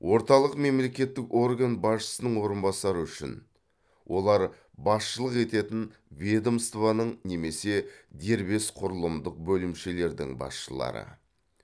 орталық мемлекеттік орган басшысының орынбасары үшін олар басшылық ететін ведомствоның немесе дербес құрылымдық бөлімшелердің басшылары